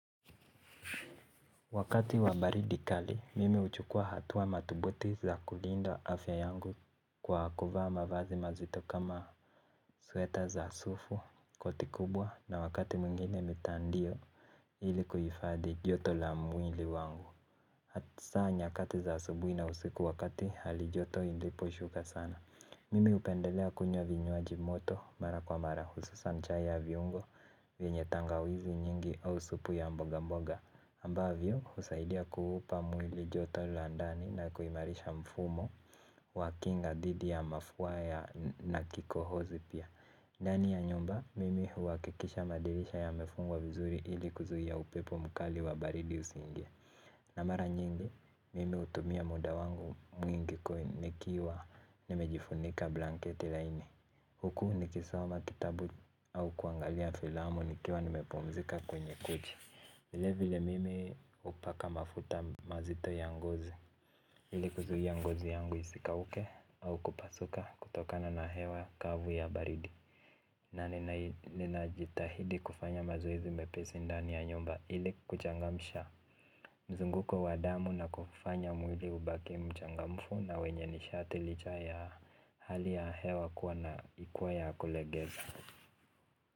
Wakati wa baridi kali, mimi huchukua hatua mathubuti za kulinda afya yangu kwa kuvaa mavazi mazito kama sweta za sufu koti kubwa na wakati mwingine mitandio ili kuhifadhi joto la mwili wangu. Hata saa nyakati za asubuhi na usiku wakati halijoto iliposhuka sana mimi hupendelea kunywa vinywaji moto mara kwa mara hususa chai ya viungo vyenye tangawizi nyingi au supu ya mboga mboga ambavyo husaidia kuupa mwili joto la ndani na kuimarisha mfumo wa kinga dhidi ya mafua ya na kikohozi pia. Ndani ya nyumba mimi huhakikisha madirisha yamefungwa vizuri ili kuzuia upepo mkali wa baridi usiingie. Na mara nyingi, mimi hutumia muda wangu mwingi kwa nikiwa nimejifunika blanketi laini. Huku nikisoma kitabu au kuangalia filamu nikiwa nimepumzika kwenye kochi. Vilevile mimi hupaka mafuta mazito ya ngozi. Ile kuzuia ngozi yangu isikauke au kupasuka kutokana na hewa kavu ya baridi. Na ninajitahidi kufanya mazoezi mepesi ndani ya nyumba ili kuchangamsha. Mzunguko wa damu na kufanya mwili ubaki mchangamfu na wenye nishati licha ya hali ya hewa kuwa na ikuww ya kulegeza.